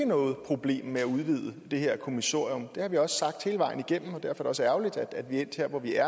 noget problem med at udvide det her kommissorium det har vi også sagt hele vejen igennem og derfor også ærgerligt at vi er endt her hvor vi er